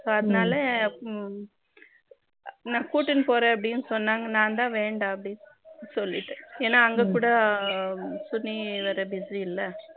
இப்போ அதனால நா கூட்டுனு போறேன் ஆப்படினு சொன்னாங்க நான் தான் வேண்ட அப்படினு சொல்லிட்டேன் ஏனா அங்க கூட சுனில் வேற busy இல்ல